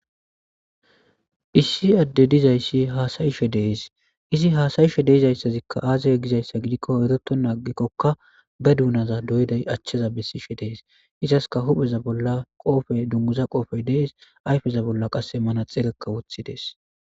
Issi ade dizays hasayishe de'es izi hsayishe de'izayszika aze gizaysa gidiko yotetena agikoka be dunaza doyidya acheza besishe des izska hupheza bolla qofe dunguza qofey des ayfeza bolla qase manaxireka wothides